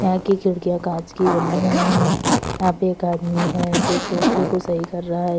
यहां की खिड़कियां कांच की बनी है यहां पे एक आदमी है जो सोफे को सही कर रहा है।